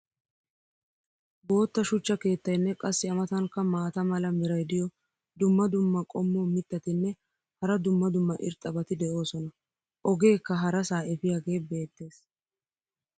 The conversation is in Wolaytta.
bootta shuchcha keettaynne qassi a matankka maata mala meray diyo dumma dumma qommo mitattinne hara dumma dumma irxxabati de'oosona. ogeekka harasaa efiyaagee beetees.